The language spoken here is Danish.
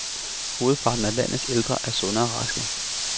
Hovedparten af landets ældre er sunde og raske